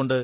അതുകൊണ്ട്